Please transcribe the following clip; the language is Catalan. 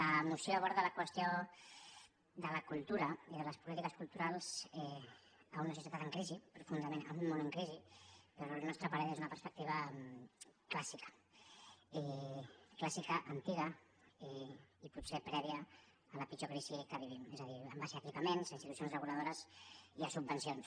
la moció aborda la qüestió de la cultura i de les polítiques culturals en una societat en crisi i profundament en un món en crisi però al nostre parer des d’una perspectiva clàssica i clàssica antiga i potser prèvia a la pitjor crisi que vivim és a dir en base a equipaments a institucions reguladores i a subvencions